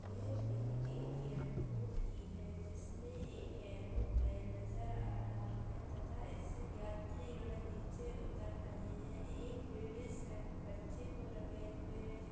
ये पिक एक एयरपोर्ट की है जिसमें एक एयरोप्लेन नज़र आ रहा है तथा इससे यात्रीगण नीचे उतर रहे हैं | एक लेडीज बच्चे को रखे हुए है।